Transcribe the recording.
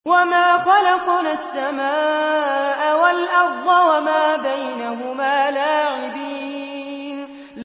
وَمَا خَلَقْنَا السَّمَاءَ وَالْأَرْضَ وَمَا بَيْنَهُمَا لَاعِبِينَ